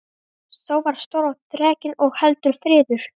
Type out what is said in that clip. Sá var stór og þrekinn og heldur fríður.